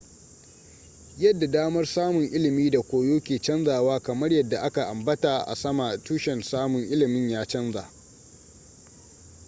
yadda damar samun ilimi da koyo ke canzawa kamar yadda a ka ambata a sama tushen samun ilimin ya canza